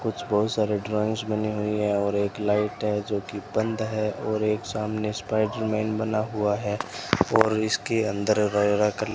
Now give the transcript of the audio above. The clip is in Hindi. कुछ बहुत सारे ड्राइंग्स बनी हुई है और एक लाइट है जो कि बंद है और एक सामने स्पाइडर मैन बना हुआ है और इसके अंदर रंगरा कलर --